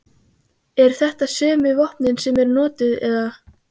Eru þetta sömu vopnin sem eru notuð eða?